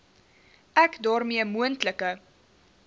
ek daarmee moontlike